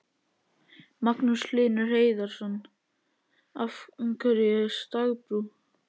Magnús Hlynur Hreiðarsson: Af hverju stagbrú?